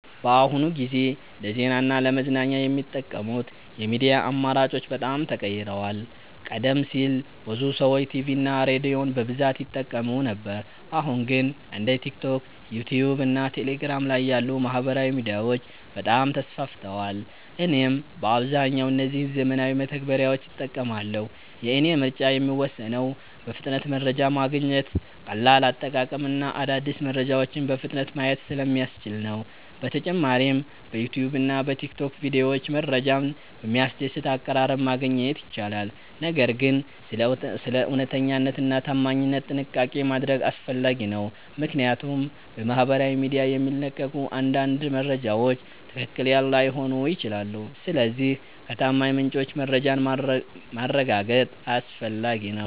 በአሁኑ ጊዜ ለዜና እና ለመዝናኛ የሚጠቀሙት የሚዲያ አማራጮች በጣም ተቀይረዋል። ቀደም ሲል ብዙ ሰዎች ቲቪ እና ሬዲዮን በብዛት ይጠቀሙ ነበር አሁን ግን እንደ ቲክቶክ፣ ዩትዩብ እና ቴሌግራም ያሉ ማህበራዊ ሚዲያዎች በጣም ተስፋፍተዋል። እኔም በአብዛኛው እነዚህን ዘመናዊ መተግበሪያዎች እጠቀማለሁ። የእኔ ምርጫ የሚወሰነው በፍጥነት መረጃ ማግኘት፣ ቀላል አጠቃቀም እና አዳዲስ መረጃዎችን በፍጥነት ማየት ስለሚያስችሉ ነው። በተጨማሪም በዩትዩብ እና በቲክቶክ ቪዲዮዎች መረጃን በሚያስደስት አቀራረብ ማግኘት ይቻላል። ነገር ግን ስለ እውነተኛነት እና ታማኝነት ጥንቃቄ ማድረግ አስፈላጊ ነው፣ ምክንያቱም በማህበራዊ ሚዲያ የሚለቀቁ አንዳንድ መረጃዎች ትክክል ላይሆኑ ይችላሉ። ስለዚህ ከታማኝ ምንጮች መረጃን ማረጋገጥ አስፈላጊ ነው።